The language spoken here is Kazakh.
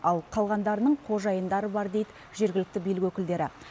ал қалғандарының қожайындары бар дейді жергілікті билік өкілдері